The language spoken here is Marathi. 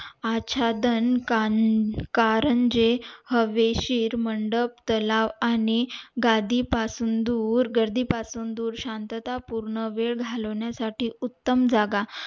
आच्छादन कानं कारंजे हवेशीर मंडप तलाव आणि गादी पासून दूर गर्दी दूर पासून शांतता पूर्ण वेळ घालवण्या साठी उत्तम जागा